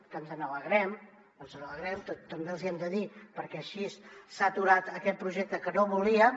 que ens n’alegrem ens n’alegrem també els hi hem de dir perquè així s’ha aturat aquest projecte que no volíem